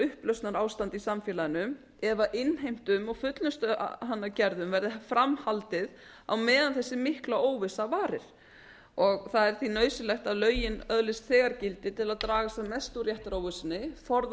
upplausnarástand í samfélaginu ef innheimtum og fullnustugerðum verði fram haldið á meðan þessi mikla óvissa varir það er því nauðsynlegt að lögin öðlist þegar gildi til að draga sem mest úr réttaróvissunni forða